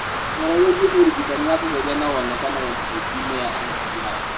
ũhoro wĩgiĩ ũrigitani wa kũgeria no woneke webusaiti-inĩ ya NCI.